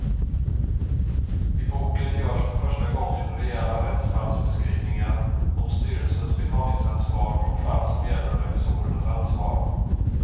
I boken görs för första gången rejäla rättsfallsbeskrivningar om styrelsens betalningsansvar och fall som gäller revisorernas ansvar.